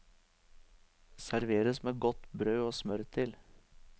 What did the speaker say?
Serveres med godt brød og smør til.